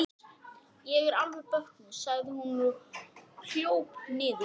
En hvað skýrir batnandi verðbólguhorfur?